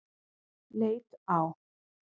Leit á